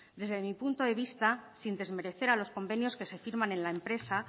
desde mi punto de vista sin desmerecer a los convenios que se firman en la empresa